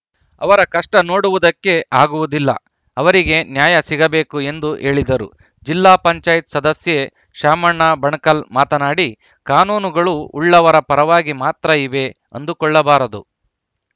ಅವರ ಕಷ್ಟನೋಡುವುದಕ್ಕೆ ಆಗುವುದಿಲ್ಲ ಅವರಿಗೆ ನ್ಯಾಯ ಸಿಗಬೇಕು ಎಂದು ಹೇಳಿದರು ಜಿಲ್ಲಾ ಪಂಚಾಯತ್ ಸದಸ್ಯೆ ಶಾಮಣ್ಣ ಬಣಕಲ್‌ ಮಾತನಾಡಿ ಕಾನೂನುಗಳು ಉಳ್ಳವರ ಪರವಾಗಿ ಮಾತ್ರ ಇವೆ ಅಂದುಕೊಳ್ಳಬಾರದು